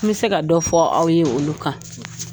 An bɛ se ka dɔ fɔ aw ye olu kan